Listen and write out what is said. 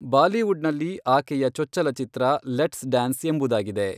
ಬಾಲಿವುಡ್ನಲ್ಲಿ ಆಕೆಯ ಚೊಚ್ಚಲ ಚಿತ್ರ ಲೆಟ್ಸ್ ಡ್ಯಾನ್ಸ್ ಎಂಬುದಾಗಿದೆ.